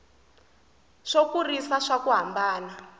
swo kurisa swa ku hambana